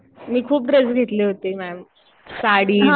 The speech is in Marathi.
मी खूप ड्रेस घेतले होते मॅम. साडी, ड्रेस